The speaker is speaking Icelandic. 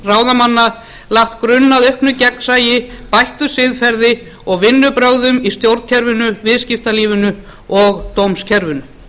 ráðamanna lagt grunn að auknu rétti bættu siðferði og vinnubrögðum í stjórnkerfinu viðskiptalífinu og dómskerfinu